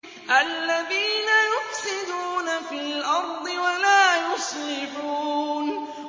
الَّذِينَ يُفْسِدُونَ فِي الْأَرْضِ وَلَا يُصْلِحُونَ